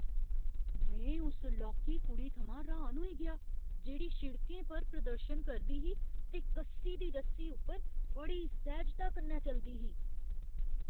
में उस लौह्की कुड़ी थमां हैरान होई गेआ जेह्ड़ी शिड़कें पर प्रदर्शन करदी ही ते कस्सी दी रस्सी उप्पर बड़ी सैह्जता कन्नै चलदी ही।